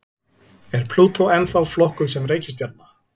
Er Plútó ennþá flokkuð sem reikistjarna?